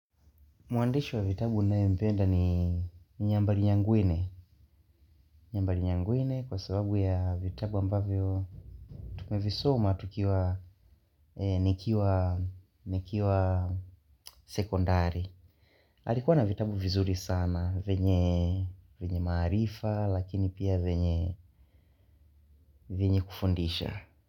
Muandishi wa vitabu naempenda ni nyambari nyangwine. Nyambari nyangwine kwa sababu ya vitabu ambavyo tumevisoma tukiwa nikiwa sekondari. Halikuwa na vitabu vizuri sana venye maarifa lakini pia venye kufundisha.